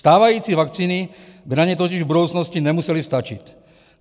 Stávající vakcíny by na ně totiž v budoucnosti nemusely stačit.